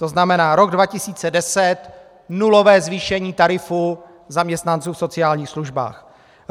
To znamená rok 2010 - nulové zvýšení tarifů zaměstnanců v sociálních službách.